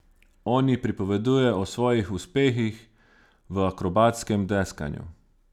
On ji pripoveduje o svojih uspehih v akrobatskem deskanju.